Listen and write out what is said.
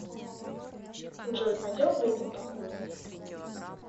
джой пойдем выйдем покурим